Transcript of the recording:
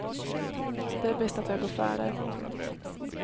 Det är bäst att jag går före. punkt